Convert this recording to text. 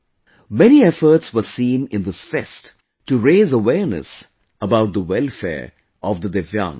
Many efforts were seen in this fest to raise awareness about the welfare of the divyangs